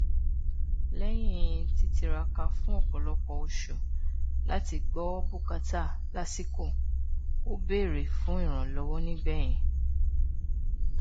lẹyìn títiraka fún ọpọlọpọ oṣù láti gbọ bùkátà lásìkò ó bèrè fún ìrànlọwọ nígbẹyìn